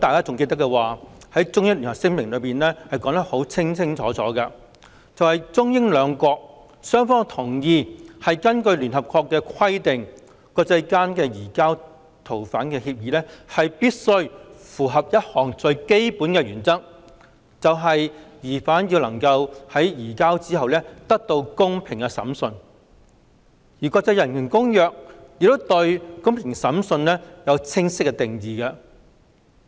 《中英聯合聲明》已清楚指出，中英兩國同意根據聯合國的規定，國際間移交逃犯的協議必須符合一項最基本原則，就是疑犯在移交後能夠得到公平審訊，而國際人權公約亦對"公平審訊"有清晰的定義。